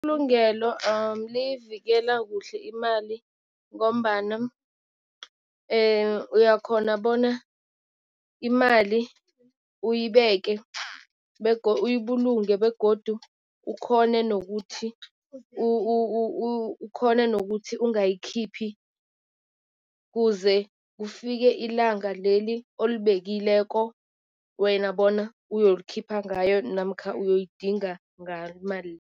Ibulungelo liyivikela kuhle imali ngombana uyakhona bona imali uyibeke, uyibulunge begodu ukhone nokuthi ukhone nokuthi ungayikhiphi kuze kufike ilanga leli olibekileko wena bona uyolikhipha ngayo namkha uyoyidinga ngalo imali.